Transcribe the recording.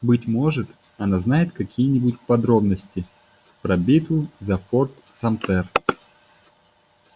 быть может она знает какие-нибудь подробности про битву за форт самтер